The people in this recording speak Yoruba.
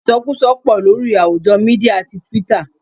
Isokuso pò lórí àwùjọ Mídíà tí Twitter.